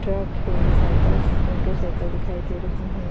Truck है cycles motor cycle दिखाई दे रही है।